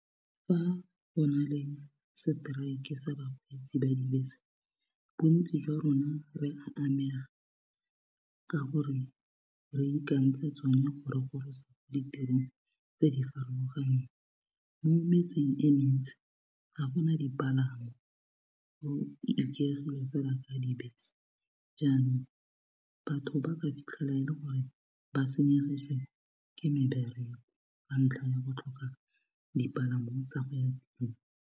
Fa go na le strike sa bakgweetsi ba dibese bontsi jwa rona re a amega ka gore re ikantse tsone go re gorosa ditirong tse di farologaneng mo metseng e mentsi ga gona dipalangwa go ikaegilwe fela ka dibese jaanong batho ba ka fitlhela e le gore ba senyegetswe ke mebereko ka ntlha ya go tlhoka dipalamo tsa go ya tirong.